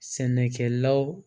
Sɛnɛkɛlaw